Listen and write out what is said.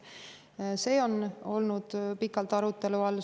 Need on olnud pikalt arutelu all.